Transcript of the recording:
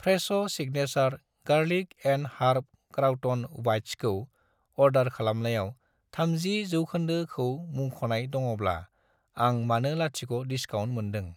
Fresh' signature garlic and herb crouton बाइट्सखौ order खालामनायाव 30 % खौ मुंख'नाय दङब्ला, आं मानो लाथिख' डिसकाउन्ट मोनदों।